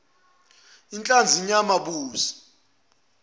inhlanzi inyama ubisi